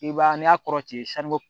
I b'a ye n'i y'a kɔrɔtɛ